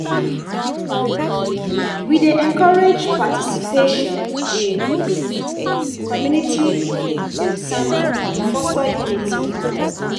We dey encourage participation participation in community sermons to foster unity and understanding.